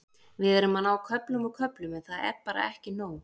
Við erum að ná köflum og köflum en það er bara ekki nóg.